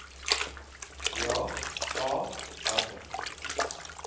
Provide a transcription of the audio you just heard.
ja a watter